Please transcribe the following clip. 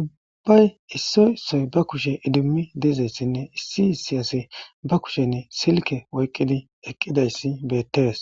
ubbay issoysoy ba kushe idimmi deezayssinne issi siyase ba kushenn silke oyqqidi eqqidayssi beettees.